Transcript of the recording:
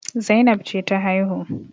Zainab ce ta haihu